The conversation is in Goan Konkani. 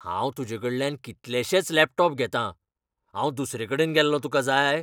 हांव तुज़ेकडल्यान कीतलेशेच लॅपटॉप घेतां. हांव दुसरेकडेन गेल्लो तुकां जाय?